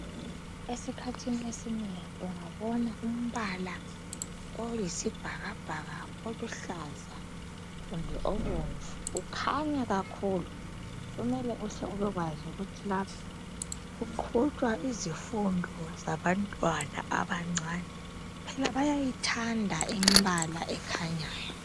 Esikhathini esinengi ungabona umbala oyisibhakabhaka, oluhlaza kumbe obomvu ukhanya kakhulu, kumele uhle ubekwazi ukuthi lapha kuqhutshwa izifundo zabantwana abancane. Phela bayayithanda imbala ekhanyayo.